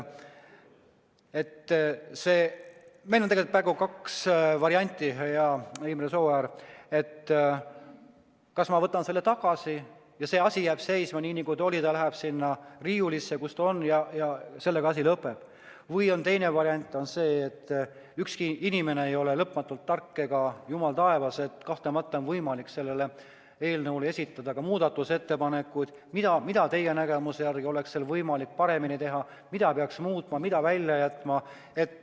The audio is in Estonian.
Meil on tegelikult kaks varianti, hea Imre Sooäär: ma kas võtan selle tagasi ja see asi jääb seisma, nii nagu oli, ta läheb sinna riiulisse ja sellega asi lõpeb või teine variant on see, et ükski inimene ei ole lõpmatult tark ega jumal taevas – kahtlemata on võimalik selle eelnõu kohta esitada muudatusettepanekuid, mida teie nägemuses oleks võimalik paremini teha, mida peaks muutma ja mille välja jätma.